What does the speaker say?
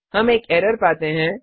हम एक एरर पाते हैं